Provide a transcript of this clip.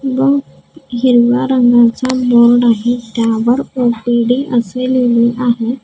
हिरव्या रंगाचा बोर्ड आहे त्यावर ओ_पी_डी असे लिहिले आहे.